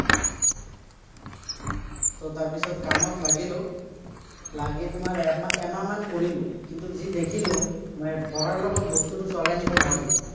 তাৰ পিছত কামত লাগিলো, লাগি তোমাৰ এমাহ এমাহমান কৰিলো। কিন্তু, যি দেখিলো মানে পঢ়াৰ লগত বস্তুটো চলাই নিব নোৱাৰি।